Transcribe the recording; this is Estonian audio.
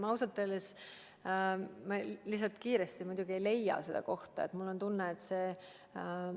Lihtsalt nii kiiresti ma ei leia seda kohta üles.